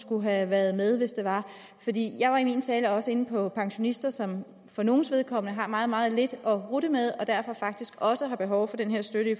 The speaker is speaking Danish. kunne have været med jeg var i min tale også inde på pensionister som for nogles vedkommende har meget meget lidt at rutte med og derfor faktisk også har behov for den her støtte